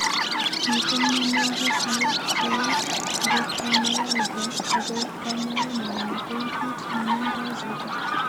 Miten mionwokik alak cheu erythromelalgia ago knayaenyin ko kou kit ne nemdo chito.